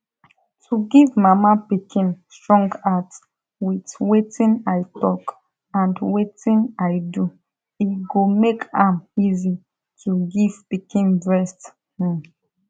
to give mama pikin strong heart with wetin i talk and wetin i do e gomake am easy to give pikin breast um